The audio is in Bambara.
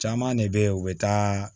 Caman de bɛ ye u bɛ taa